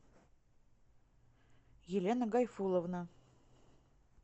елена гайфулловна